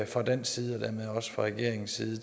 fra dansk side og dermed også fra regeringens side